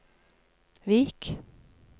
Vik